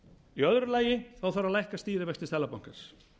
í öðru lagi þarf að lækka stýrivexti seðlabankans